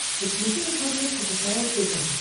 подключи на смотрешке кхл тв